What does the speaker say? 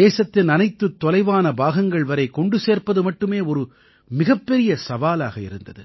தேசத்தின் அனைத்துத் தொலைவான பாகங்கள் வரை கொண்டு சேர்ப்பது மட்டுமே ஒரு மிகப்பெரிய சவாலாக இருந்தது